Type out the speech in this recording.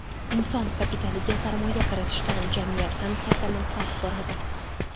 Inson kapitaliga sarmoya kiritishdan jamiyat ham katta manfaat ko‘radi.